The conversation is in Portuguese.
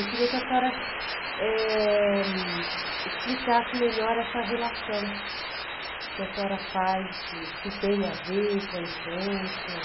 Eu queria que a senhora eh hum explicasse melhor essa relação que a senhora faz, ãh se tem a ver com a infância.